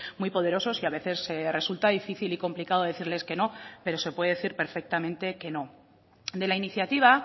muy poderosos y a veces resulta difícil y complicado decirles que no pero se puede decir perfectamente que no de la iniciativa